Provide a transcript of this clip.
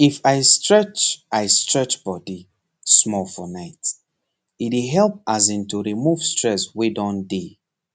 if i stretch i stretch body small for night e dey help as in to remove stresswey don dey